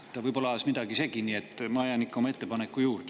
Ta võib-olla ajas midagi segi, nii et ma jään ikka oma ettepaneku juurde.